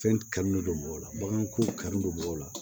Fɛn kanu don mɔgɔw la baganko kanu don b'o la